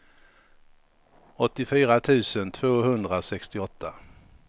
åttiofyra tusen tvåhundrasextioåtta